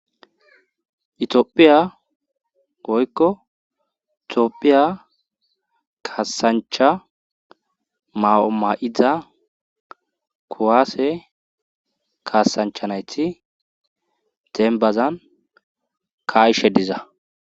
Itiyophiya woykko Tophiya kasancha ma'o ma'iza kuwaase kaasancha nayti dembazan ka'ishe diza